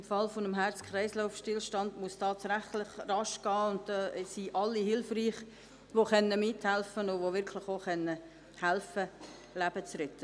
Im Falle eines Herz-Kreislauf-Stillstands muss es tatsächlich schnell gehen, und da sind alle hilfreich, die mithelfen können, Leben zu retten.